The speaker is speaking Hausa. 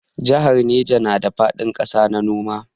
Jahar Neja na da faɗin ƙasa na noma.